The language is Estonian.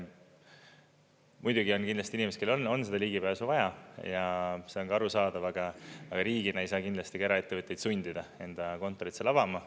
Muidugi on kindlasti inimesi, kellel on seda ligipääsu vaja, ja see on ka arusaadav, aga riigina ei saa kindlasti ka eraettevõtteid sundida enda kontorit seal avama.